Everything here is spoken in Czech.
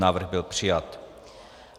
Návrh byl přijat.